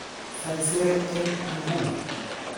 Saisere eng' inguni.